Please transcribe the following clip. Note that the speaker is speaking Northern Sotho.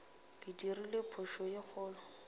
ke dirile phošo ye kgolo